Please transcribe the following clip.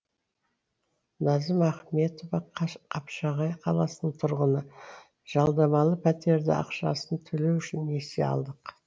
назым ахметова қапшағай қаласының тұрғыны жалдамалы пәтердің ақшасын төлеу үшін несие алдық